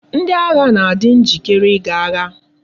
Ndi agha na adi njikere i ga agha